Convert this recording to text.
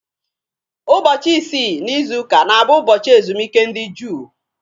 Ụbọchị isii n'izuka na-abụ ụbọchị ezumike ndị Juu.